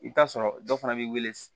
I bɛ t'a sɔrɔ dɔ fana b'i wele